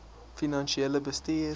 finansiële bestuur